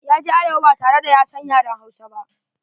Ya je arewa ba tare da ya san yaren Hausa ba.